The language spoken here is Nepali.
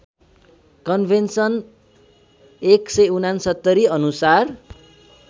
कन्भेन्सन १६९ अनुसार